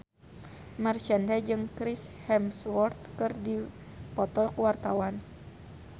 Marshanda jeung Chris Hemsworth keur dipoto ku wartawan